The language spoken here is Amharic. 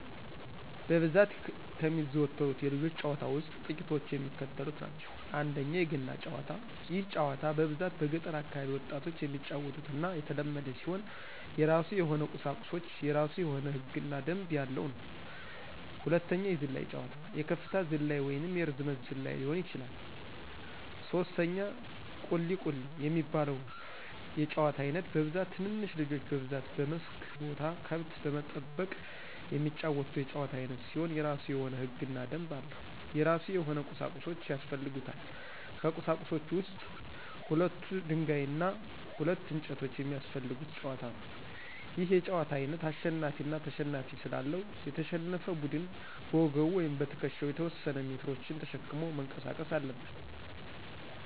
በብዛት ከሚዘወተሩት የልጆች ጨዋታ ውስጥ ጥቂቶቹ የሚከተሉት ናቸው፦ ፩) የገና ጨዋታ፦ ይህ ጨዋታ በብዛት በገጠር አካባቢ ወጣቶች የሚጫወቱትና የተለመደ ሲሆን የራሱ የሆነ ቁሳቁሶች፤ የራሱ የሆነ ህግ እና ደንብ ያለው ነው። ፪) የዝላይ ጨዋታ፦ የከፍታ ዝላይ ወይንም የርዝመት ዝላይ ሊሆን ይችላል። ፫) ቁሊ፦ ቁሊ የሚባለው የጨዋታ አይነት በብዛት ትንንሽ ልጆች በብዛት በመስክ ቦታ ከብት በመጠበቅ የሚጫወቱት የጨዋታ አይነት ሲሆን የራሱ የሆነ ህግና ደንብ አለው። የራሱ የሆነ ቁሳቁሶች ያሰፈልጉታል። ከቁሳቁሶች ውስጥ ሁለት ደንጋይ እና ሁለት እንጨቶች የሚያሰፈልጉት ጨዋታ ነው። ይህ የጨዋታ አይነት አሸናፊ አና ተሸናፊ ስላለው፤ የተሸነፈ ቡድን በወገቡ ወይም በትክሻው የተወሰነ ሜትሮችን ተሸክሞ መንቀሳቀስ አለበት።